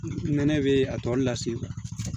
Nɛnɛ bɛ a tɔlu lase